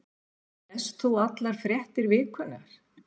Lest þú allar fréttir vikunnar?